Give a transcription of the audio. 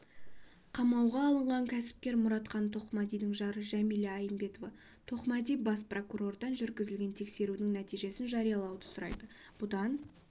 қамауға алынған кәсіпкер мұратхан тоқмәдидің жары жәмила айымбетова-тоқмәди бас прокуратурадан жүргізілген тексерудің нәтижесін жариялауды сұрайды бұдан